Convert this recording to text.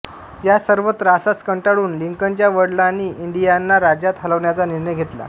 या सर्व त्रासास कंटाळून लिंकनच्या वडलांनी इंडियाना राज्यात हलण्याचा निर्णय घेतला